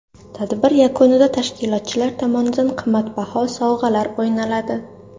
Tadbir yakunida tashkilotchilar tomonidan qimmatbaho sovg‘alar o‘ynaladi.